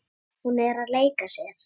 Hún er að leika sér.